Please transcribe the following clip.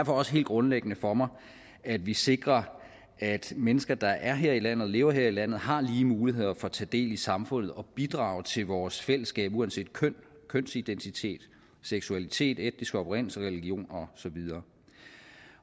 også helt grundlæggende for mig at vi sikrer at mennesker der er her i landet og lever her i landet har lige muligheder for at tage del i samfundet og bidrage til vores fællesskab uanset køn kønsidentitet seksualitet etnisk oprindelse religion og så videre